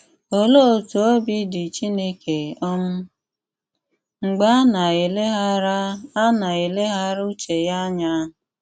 Óléé ótú òbí dị Chíńéké um mgbẹ́ á ná-éleghárà á ná-éleghárà ùchè yá ányà?